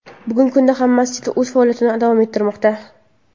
Bugungi kunda ham masjid o‘z faoliyatini davom ettirmoqda.